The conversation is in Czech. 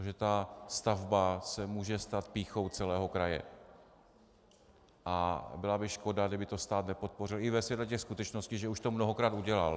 Takže ta stavba se může stát pýchou celého kraje a byla by škoda, kdyby to stát nepodpořil, i ve světle těch skutečností, že už to mnohokrát udělal.